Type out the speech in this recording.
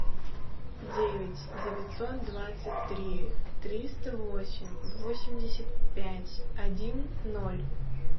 девять девятьсот двадцать три триста восемь восемьдесят пять один ноль